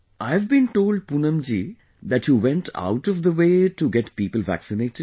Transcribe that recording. I've been told Poonam ji, that you went out of the way to get people vaccinated